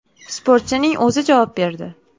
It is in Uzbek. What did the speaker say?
Sportchining o‘zi javob berdi.